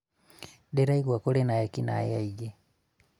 ndĩraigua kũrĩ na ekinae aingĩ